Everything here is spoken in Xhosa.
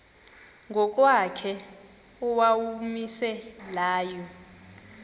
ngokwakhe owawumise layo